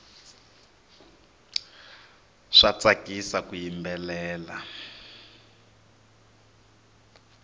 swa tsakisa ku yimbelela